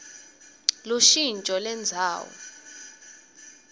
lushintjo lendzawo